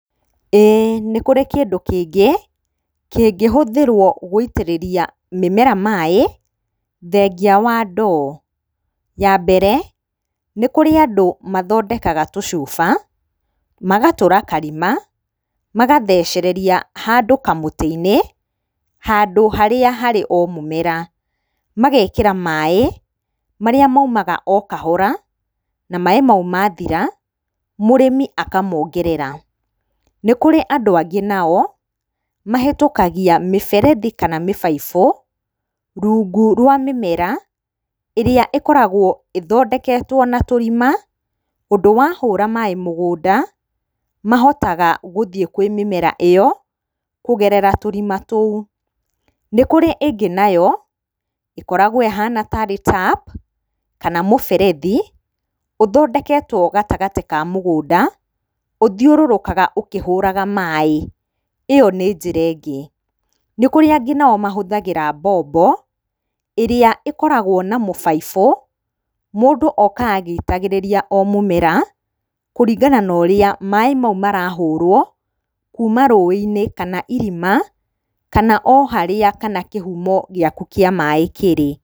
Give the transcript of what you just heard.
Ĩĩ nĩ kũri kĩndũ kĩngĩ kĩngĩhũthĩrwo gũitĩrĩria mĩmera maaĩ thengia wa ndoo. Ya mbere, nĩ kũrĩ andũ mathondekaga tũcuba, magatũra karima magathecereria handũ kamũtĩ-inĩ handũ harĩa harĩ o mũmera, magekĩra maaĩ marĩa maumaga o kahora, na maaĩ mau mathira mũrĩmi akamongerera. Nĩ kũrĩ andũ angĩ nao mahetũkagia mĩberethi kana mĩbaibũ rungu rwa mĩmera, ĩrĩa ĩkoragwo ĩthondeketwo na tũrima, ũndũ wa hũra maaĩ mũgũnda, mahotaga gũthiĩ kwĩ mĩmera ĩyo kũgerera tũrima tũu. Nĩ kũrĩ na ĩngĩ nayo ĩkoragwo ĩhana tarĩ tap kana mũberethi uthondeketwo gatagatĩ ka mũgũnda ũthiũrũrũkaga ũkĩhũraga maaĩ, ĩyo nĩ njĩra ĩngĩ. Nĩ kũrĩ angĩ nao mahũthagĩra mbombo, ĩrĩa ĩkoragwo ma mũbaibũ, mũndu okaga agĩitĩrĩria o mũmera kũringana na ũrĩa maaĩ mau marahũrwo kuuma rũĩ-inĩ, kana irima, kana o harĩa kana kĩhumo gĩaku kĩa maaĩ kĩrĩ.